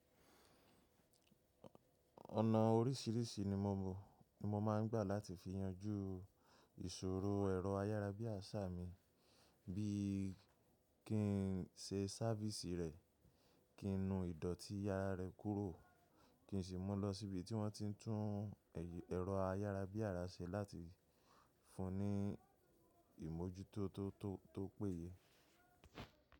Ọ̀nà oríṣìíríṣìí ni mo máa ń gbà láti fi yanjú ìṣòro ẹ̀rọ ayárabíàṣá mi bí i kí n ṣe sáfìsì rẹ̀, kí n nu ìdọ̀tí ara rẹ́ kúrò, kí n sì mú lọ sí ibi tí wọ́n ti ń tún ẹ̀rọ ayárabíàrà ṣe láti fún un ní ìmójútó tó péye.